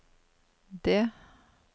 det